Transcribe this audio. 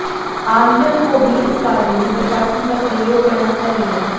आमजन को भी इस कार्य में प्रशासन का सहयोग करना चाहिए